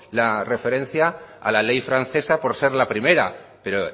la referencia a la ley francesa por ser la primera pero